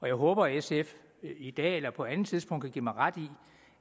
jeg håber at sf i dag eller på et andet tidspunkt kan give mig ret i